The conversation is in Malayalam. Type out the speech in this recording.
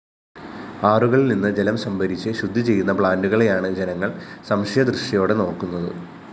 ആറുകളില്‍നിന്നു ജലം സംഭരിച്ച് ശുദ്ധിചെയ്യുന്ന പ്ലാന്റുകളെയാണ് ജനങ്ങള്‍ സംശയദൃഷ്ടിയോടെ നോക്കുന്നത്